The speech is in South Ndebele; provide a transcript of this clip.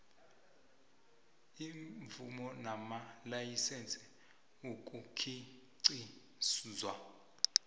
iimvumo namalayisense ukukhiqizwa